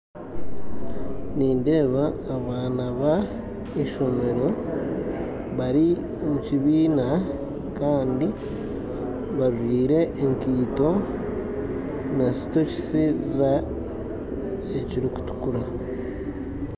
Nindeeba abaana ba ishomero bari omukibiina kandi bajwaire enkaito na sokisi ezirikutukura